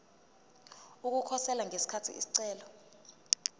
ukukhosela ngesikhathi isicelo